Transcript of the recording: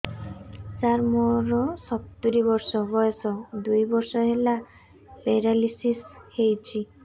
ସାର ମୋର ସତୂରୀ ବର୍ଷ ବୟସ ଦୁଇ ବର୍ଷ ହେଲା ପେରାଲିଶିଶ ହେଇଚି